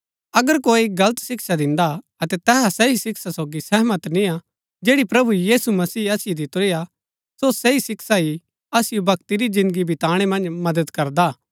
अगर कोई गलत शिक्षा दिन्दा हा अतै तैहा सही शिक्षा सोगी सहमत निय्आ जैड़ी प्रभु यीशु मसीह असिओ दितुरी हा सो सही शिक्षा ही असिओ भक्ति री जिन्दगी बीताणै मन्ज मदद करदा हा